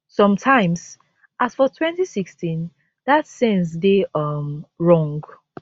sometimes as for 2016 dat sense dey um wrong